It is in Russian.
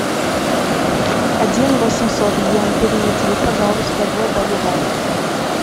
один восемьсот йен переведи пожалуйста в боливар